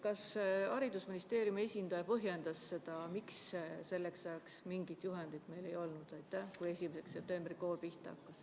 Kas haridusministeeriumi esindaja põhjendas, miks selleks ajaks, kui 1. septembril kool pihta hakkas, meil mingit juhendit ei olnud?